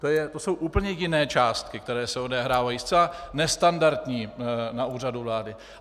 To jsou úplně jiné částky, které se odehrávají, zcela nestandardní, na Úřadu vlády.